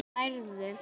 Þá nærðu.